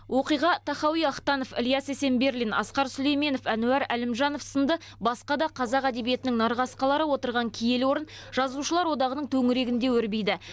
оқиға тахауи ахтанов ілияс есенберлин асқар сүлейменов әнуар әлімжанов сынды басқа да қазақ әдебиетінің нарқасқалары отырған киелі орын жазушылар одағының төңірегінде өрбиді